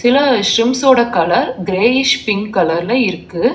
அ ஸ்ரிம்ஸ்ஸோட colour greyish pink கலர்ல இருக்கு.